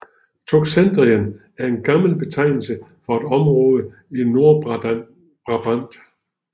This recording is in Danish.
Toxandrien er en gammel betegnelse for et område i Nordbrabant